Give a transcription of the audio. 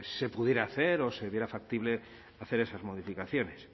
se pudiera hacer o se viera factible hacer esas modificaciones